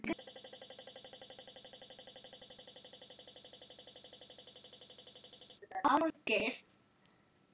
Ég var ekki svona áður.